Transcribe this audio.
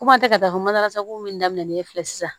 Ko an tɛ ka taa masaki min daminɛlen filɛ sisan